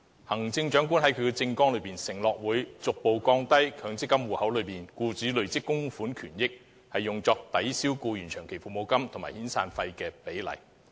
行政長官在政綱中承諾會"逐步降低強積金戶口內僱主累積供款權益用作抵銷僱員長期服務金及遣散費的比例"。